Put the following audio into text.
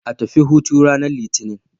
A tafi hutu ranar Litinin.